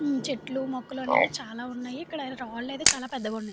చెట్లు మొక్కలు అనేవి చాలా ఉన్నాయి ఇక్కడ రాళ్లు ఐతే చాలా పెద్దగా ఉన్నాయి.